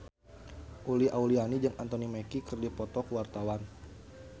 Uli Auliani jeung Anthony Mackie keur dipoto ku wartawan